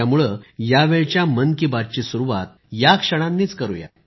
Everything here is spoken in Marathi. त्यामुळे यावेळच्या मन की बात ची सुरुवात याच क्षणांनी करुया